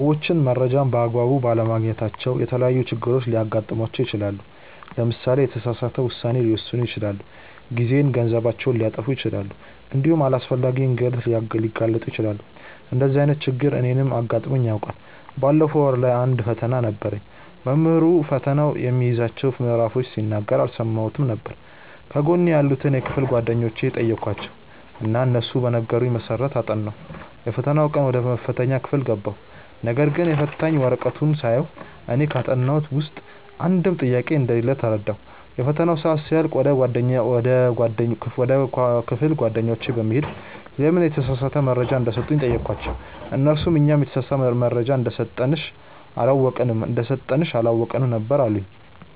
ሰዎች መረጃን በ አግባቡ ባለማግኘታቸው የተለያዪ ችግሮች ሊገጥማቸው ይችላል። ለምሳሌ የተሳሳተ ውሳኔ ሊወስኑ ይችላሉ፣ ጊዜና ገንዘባቸውን ሊያጠፉ ይችላሉ እንዲሁም ለአላስፈላጊ እንግልት ሊጋለጡ ይችላሉ። እንደዚህ አይነት ችግር እኔንም አጋጥሞኝ ያውቃል። ባለፈው ወር ላይ አንድ ፈተና ነበረኝ። መምህሩ ፈተናው የሚይዛቸውን ምዕራፎች ሲናገር አልሰማሁትም ነበር። ከጎኔ ያሉትን የክፍል ጓደኞቼን ጠየኳቸው እና እነሱ በነገሩኝ መሰረት አጠናሁ። የፈተናው ቀን ወደ መፈተኛ ክፍል ገባሁ ነገርግን የፈተና ወረቀቱን ሳየው እኔ ካጠናሁት ውስጥ አንድም ጥያቄ እንደሌለ ተረዳሁ። የፈተናው ሰአት ሲያልቅ ወደ ክፍል ጓደኞቼ በመሄድ ለምን የተሳሳተ መረጃ እንደሰጡኝ ጠየኳቸው እነርሱም "እኛም የተሳሳተ መረጃ እንደሰጠንሽ አላወቅንም ነበር አሉኝ"።